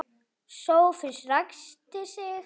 Sófus ræskti sig.